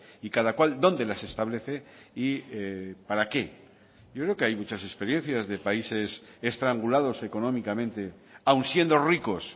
y cada cual dónde las establece y para qué yo creo que hay muchas experiencias de países estrangulados económicamente aun siendo ricos